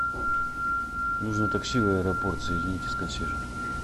нужно такси в аэропорт соедините с консьержем